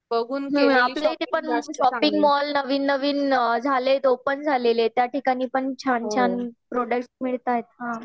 हं आपल्याइथे पण शॉपिंग मॉल नवीन नवीन झालेत. ओपन झालेले आहेत त्याठिकाणी पण छान छान प्रोडक्ट्स मिळतायेत ना.